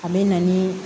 A bɛ na ni